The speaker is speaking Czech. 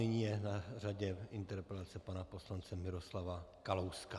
Nyní je na řadě interpelace pana poslance Miroslava Kalouska.